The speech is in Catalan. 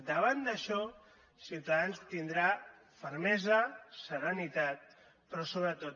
davant d’això ciutadans tindrà fermesa serenitat però sobretot